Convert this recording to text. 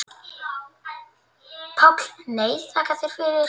PÁLL: Nei, þakka þér fyrir.